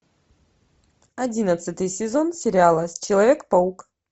одиннадцатый сезон сериала человек паук